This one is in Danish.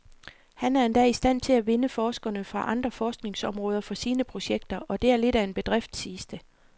Han er endda i stand til at vinde forskere fra andre forskningsområder for sine projekter, og det er lidt af en bedrift, siges det.